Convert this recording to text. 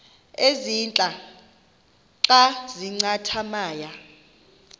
ezintia xa zincathamayo